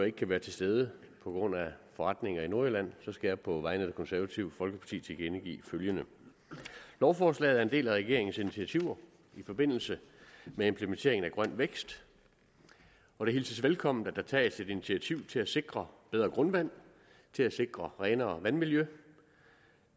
ikke kan være til stede på grund af forretninger i nordjylland skal jeg på vegne af det konservative folkeparti tilkendegive følgende lovforslaget er en del af regeringens initiativer i forbindelse med implementeringen af grøn vækst og det hilses velkommen at der tages et initiativ til at sikre bedre grundvand til at sikre renere vandmiljø